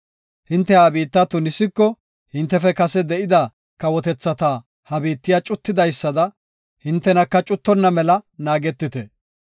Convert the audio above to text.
Hinte ha biitta tunisiko, hintefe kase de7ida kawotethata ha biittiya cuttidaysada hintenaka cuttonna mela naagetite.